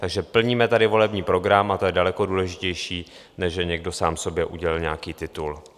Takže plníme tady volební program a to je daleko důležitější, než že někdo sám sobě udělil nějaký titul.